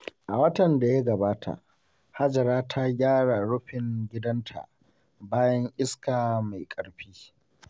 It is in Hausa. A watan da ya gabata, Hajara ta gyara rufin gidanta bayan iska mai ƙarfi.